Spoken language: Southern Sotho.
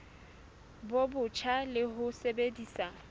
bo botjha le ho sebedisa